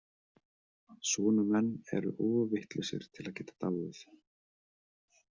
Svona menn eru of vitlausir til að geta dáið.